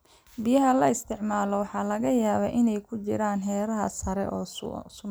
Biyaha la isticmaalo waxaa laga yaabaa inay ku jiraan heerar sare oo sun ah.